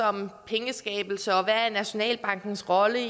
om pengeskabelse og hvad nationalbankens rolle